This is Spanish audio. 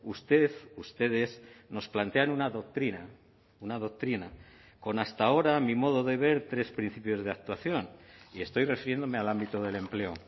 usted ustedes nos plantean una doctrina una doctrina con hasta ahora a mi modo de ver tres principios de actuación y estoy refiriéndome al ámbito del empleo